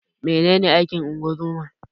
Menene aikin ungozoma?